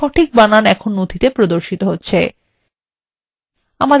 সঠিক বানান এখন নথিতে প্রদর্শিত হচ্ছে